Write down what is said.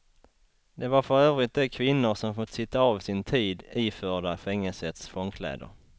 Det var för övrigt de kvinnor som fått sitta av sin tid iförda fängelsets fångkläder.